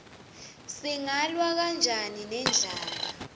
singalwa kanjani nendlala